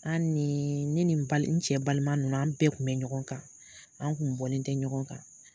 An ni ne ni n n cɛ balima ninnu an bɛɛ kun bɛ ɲɔgɔn kan, an kun bɔlen tɛ ɲɔgɔn kan.